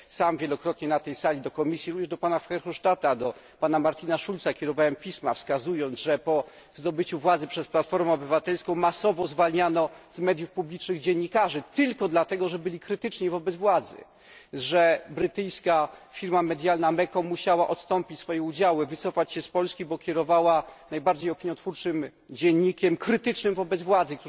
Sam wielokrotnie na tej sali również do pana Verhofstadta, do pana Martina Schulza kierowałem pisma w których informowałem, że po zdobyciu władzy przez Platformę Obywatelską masowo zwalniano z mediów publicznych dziennikarzy tylko dlatego, że byli krytyczni wobec władzy, że brytyjska firma medialna Mecom musiała odstąpić swoje udziały, wycofać się z Polski, ponieważ kierowała najbardziej opiniotwórczym dziennikiem krytycznym wobec władzy.